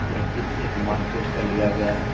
यह चित्र एक मार्केट का लिया गया है।